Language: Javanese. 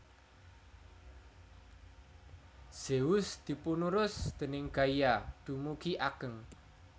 Zeus dipunurus déning Gaia dumugi ageng